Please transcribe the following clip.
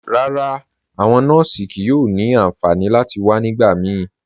Rárá, awọn nọọsì kíí yóò ni ànfànì láti wà nígbàmíí.